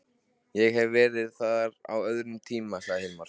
Ég hef verið þar á öðrum tíma, sagði Hilmar.